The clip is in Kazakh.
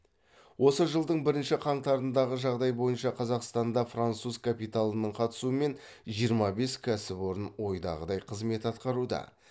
осы жылдың бірінші қаңтарындағы жағдай бойынша қазақстанда француз капиталының қатысуымен жиырма бес кәсіпорын ойдағыдай қызмет атқаруда